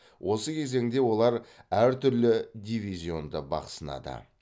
осы кезеңде олар әртүрлі дивизионда бақ сынады